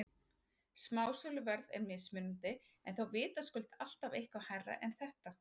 Smásöluverð er mismunandi en þó vitaskuld alltaf eitthvað hærra en þetta.